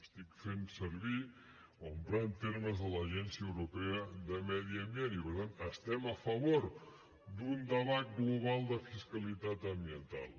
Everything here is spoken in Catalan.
estic fent servir o emprant termes de l’agència europea de medi ambient i per tant estem a favor d’un debat global de fiscalitat ambiental